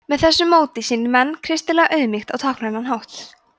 með þessu móti sýni menn kristilega auðmýkt á táknrænan hátt